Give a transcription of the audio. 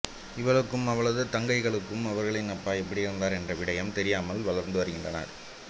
இவளுக்கும் அவளது தங்கைகளுக்கு அவர்களின் அப்பா எப்படி இறந்தார் என்ற விடயம் தெரியாமல் வளர்த்து வருகின்றனர்